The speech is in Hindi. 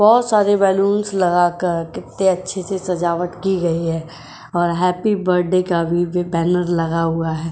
बोहोत सारे बलूनस लगाकर कितते अच्छे-से सजावट की गई है और हैप्पी बर्थडे का भी बैनर लगा हुआ है।